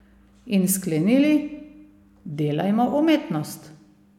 In sklenili: "Delajmo umetnost.